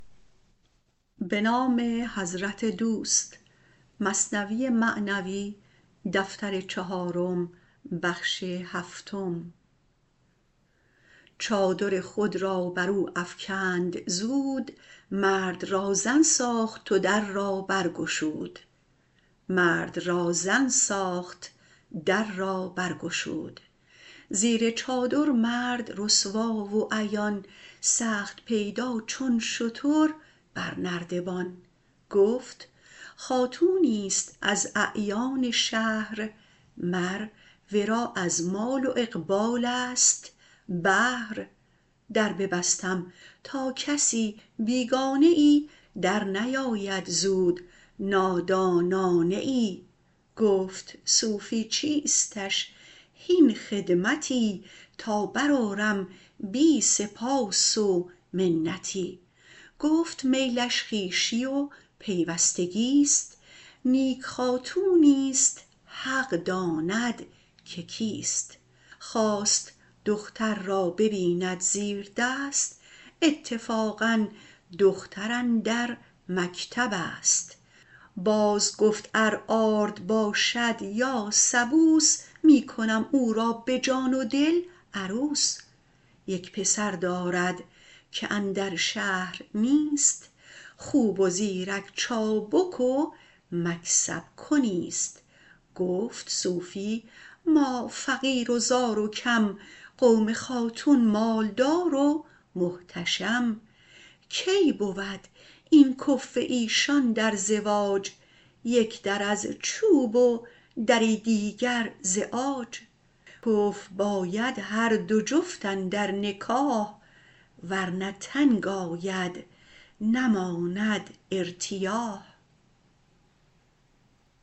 چادر خود را برو افکند زود مرد را زن ساخت و در را بر گشود زیر چادر مرد رسوا و عیان سخت پیدا چون شتر بر نردبان گفت خاتونیست از اعیان شهر مر ورا از مال و اقبالست بهر در ببستم تا کسی بیگانه ای در نیاید زود نادانانه ای گفت صوفی چیستش هین خدمتی تا بر آرم بی سپاس و منتی گفت میلش خویشی و پیوستگیست نیک خاتونیست حق داند که کیست خواست دختر را ببیند زیر دست اتفاقا دختر اندر مکتبست باز گفت ار آرد باشد یا سبوس می کنم او را به جان و دل عروس یک پسر دارد که اندر شهر نیست خوب و زیرک چابک و مکسب کنیست گفت صوفی ما فقیر و زار و کم قوم خاتون مال دار و محتشم کی بود این کفو ایشان در زواج یک در از چوب و دری دیگر ز عاج کفو باید هر دو جفت اندر نکاح ورنه تنگ آید نماند ارتیاح